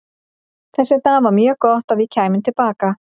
Þess vegna var mjög gott að við kæmum til baka.